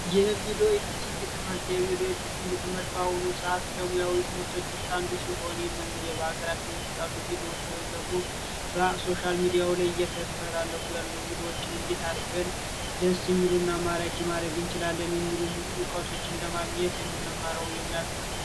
የቪዲዮ ኤድቲንግ ትምህርት ትምህርት በአሁኑ ሰዓት ከሙያዊ ትምህርቶች አንዱ ሲሆን መንገድ የሀገራችን ውስጥ ያሉ ቪድዮ ሶሻል ሚዲያው ላይ እየተስተላለፉ ያሉ እንዴት አድርገን ደስ የሚሉና ማድረግ እንችላለን ለማግኘት የሙያ ትምህርት ነው